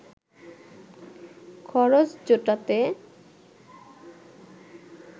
খরচ জোটাতে